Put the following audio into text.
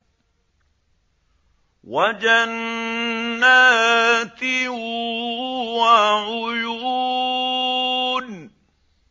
وَجَنَّاتٍ وَعُيُونٍ